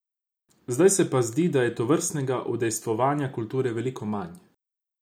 Zdaj se pa zdi, da je tovrstnega udejstvovanja kulture veliko manj.